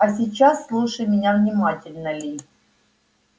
а сейчас слушай меня внимательно ли